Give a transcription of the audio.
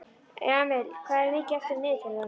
Jamil, hvað er mikið eftir af niðurteljaranum?